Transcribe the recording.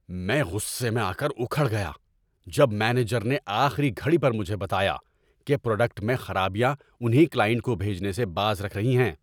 میں غصے میں آ کر اُکھڑ گیا جب مینیجر نے آخری گھڑی پر مجھے بتایا کہ پراڈکٹ میں خرابیاں انہیں کلائنٹ کو بھیجنے سے باز رکھ رہی ہیں۔